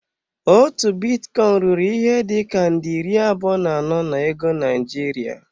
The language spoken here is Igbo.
Otu bitcoin ruru ihe dị ka nde iri abụọ na anọ na ego Naịjirịa.